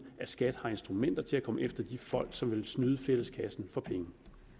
at skat har instrumenter til at komme efter de folk som vil snyde fælleskassen for penge